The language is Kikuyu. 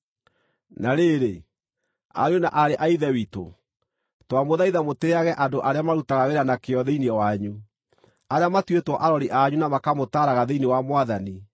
Na rĩrĩ, ariũ na aarĩ a Ithe witũ, twamũthaitha mũtĩĩage andũ arĩa marutaga wĩra na kĩyo thĩinĩ wanyu, arĩa matuĩtwo arori anyu na makamũtaaraga thĩinĩ wa Mwathani.